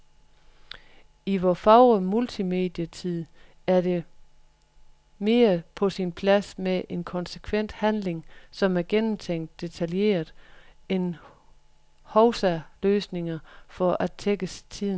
I vor fagre multimedietid er det mere på sin plads med en konsekvent handling, som er gennemtænkt detaljeret, end hovsaløsninger for at tækkes tidens trend.